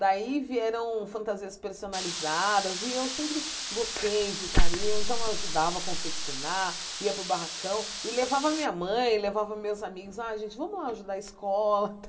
Daí vieram fantasias personalizadas, e eu sempre gostei de, então eu ajudava a confeccionar, ia para o barracão, e levava minha mãe, levava meus amigos, ah gente, vamos lá ajudar a escola.